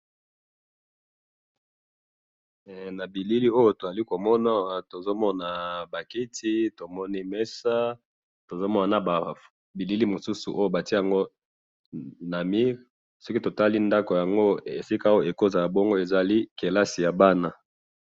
na bilili oyo tozali komona bongo tozali komona ba kiti na messa tozomona na bilili moko batiyaka na mur soki totali ndaku yango ekoki kozala neti classse ya bana.